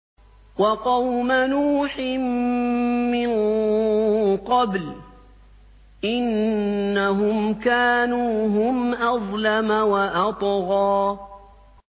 وَقَوْمَ نُوحٍ مِّن قَبْلُ ۖ إِنَّهُمْ كَانُوا هُمْ أَظْلَمَ وَأَطْغَىٰ